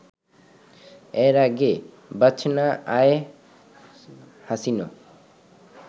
এর আগে বাচনা অ্যায় হাসিনো